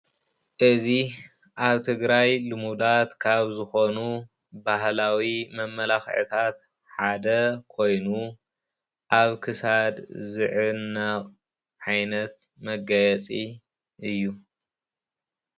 እዚ ኣብ ትግራይ ልሙዳት ካብ ዝኾኑ ባህላዊ መመላኽዕታት ሓደ ኮይኑ ኣብ ክሳድ ዝዕነቕ ዓይነት መጋየፂ እዩ፡፡